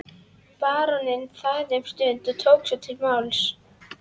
Baróninn þagði um stund en tók svo til máls